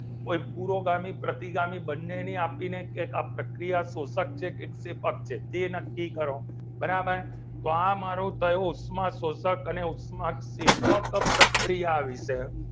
કોઈ પુરોગામી પ્રતિગામી બંને ને આપીને કે કે આ પ્રક્રિયા શોષક છે કે ક્ષેપક છે તે નક્કી કરો બરાબર તો આ મારું થયું ઉષ્માશોષક અને ઉષ્માક્ષેપક પ્રક્રિયા વિશે